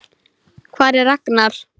Hvar er Ragnar?